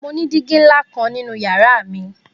Mo ni digi nla kan ninu yara mi.